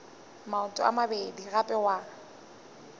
maoto a mabedi gape wa